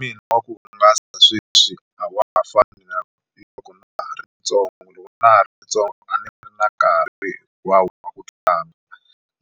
Mina wa ku hungasa sweswi a wa ha fani na loko na ha ri ntsongo, loko na ha ri ntsongo a ndzi ri na nkarhi hinkwawo wu tlanga